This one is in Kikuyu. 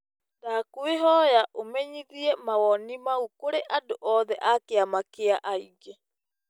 Ndakũĩhoya ũmenyithie mawoni mau kũrĩ andu oothe a kĩama kĩa aingĩ.